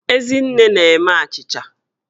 Ezinne na-eme achịcha